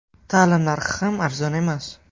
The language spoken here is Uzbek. Ta’lim narxi ham arzon emas.